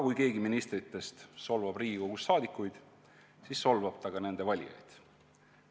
Kui keegi ministritest solvab Riigikogu liikmeid, siis solvab ta ka nende valijaid.